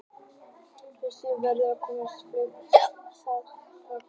Þessi saga var rétt að komast á flug þegar það var bankað.